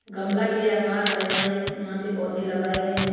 गमला के आकार का यहां एक यहां पे पौधे लगाए गए है।